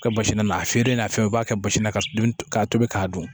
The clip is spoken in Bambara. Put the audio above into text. Kɛ basi na a feere n'a fɛn u b'a kɛ basi na ka tobi k'a dun